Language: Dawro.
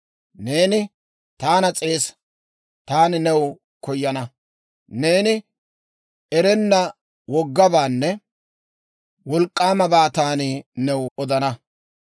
«Neeni taana S'eesa; taani new koyana; neeni erenna woggabaanne wolk'k'aamabaa taani new odana.